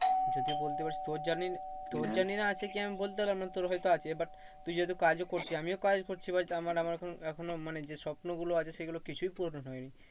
যদি বলতে পারিস তোর তোর জানিস না আছে কি আমি বলতে পারবো না তোর হয়তো আছে but তুই যেহেতু কাজও করছিস আমিও কাজ করছি আমার আমার এখনো, এখনো মানে যে স্বপ্ন গুলো আছে সেগুলো কিছুই পূরণ হয়নি।